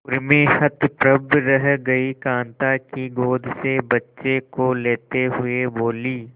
उर्मी हतप्रभ रह गई कांता की गोद से बच्चे को लेते हुए बोली